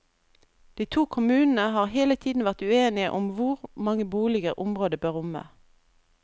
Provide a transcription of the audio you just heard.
De to kommunene har hele tiden vært uenige om hvor mange boliger området bør romme.